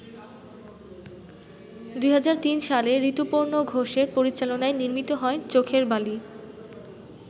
২০০৩ সালে ঋতুপর্ণ ঘোষের পরিচালনায় নির্মিত হয় ‘চোখের বালি’।